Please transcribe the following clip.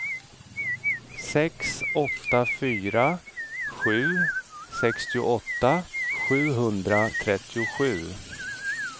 sex åtta fyra sju sextioåtta sjuhundratrettiosju